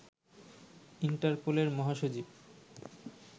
ইন্টারপোলের মহাসচিব